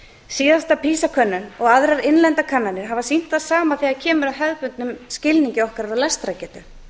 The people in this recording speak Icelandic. síðasta pisa könnun og aðrar innlendar kannanir hafa sýnt það sama þegar kemur að hefðbundnum skilningi okkar á lestrargetu